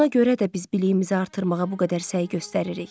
Buna görə də biz biliyimizi artırmağa bu qədər səy göstəririk.